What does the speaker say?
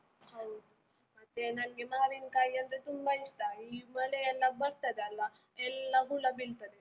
ಹೌದು ಮತ್ತೆ ನನ್ಗೆ ಮಾವಿನ್ಕಾಯಿಯಂದ್ರೆ ತುಂಬಾ ಇಷ್ಟ, ಈ ಮಳೆಯೆಲ್ಲ ಬರ್ತದೆ ಅಲ, ಎಲ್ಲ ಹುಳ ಬೀಳ್ತದೆ.